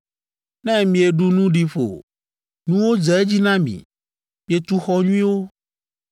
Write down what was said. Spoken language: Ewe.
Ne mieɖu nu ɖi ƒo, nuwo dze edzi na mi, mietu xɔ nyuiwo,